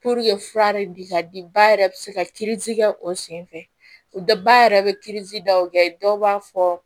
fura de bi ka di ba yɛrɛ bɛ se ka kɛ o sen fɛ o dɔ ba yɛrɛ bɛri daw kɛ dɔw b'a fɔ